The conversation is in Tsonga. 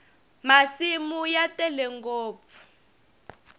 masimu ya tele ngopfu